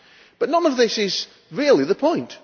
But none of this is really the point.